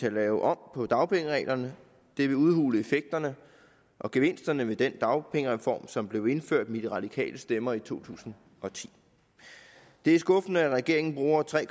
at lave om på dagpengereglerne det vil udhule effekterne og gevinsterne ved den dagpengereform som blev indført med de radikales stemmer i to tusind og ti det er skuffende at regeringen bruger tre